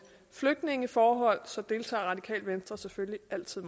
flygtningeforhold så deltager radikale venstre selvfølgelig altid